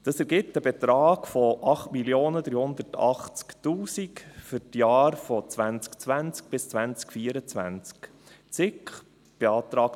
Das ergibt einen Betrag von 8 380 000 Franken für die Jahre 2020 bis 2024.